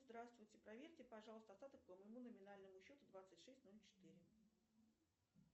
здравствуйте проверьте пожалуйста остаток по моему номинальному счету двадцать шесть ноль четыре